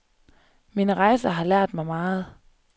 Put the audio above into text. Mine rejser har lært mig meget.